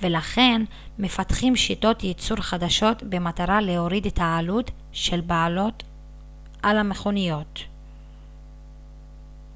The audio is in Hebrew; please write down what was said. ולכן מפתחים שיטות ייצור חדשות במטרה להוריד את העלות של בעלות על מכוניות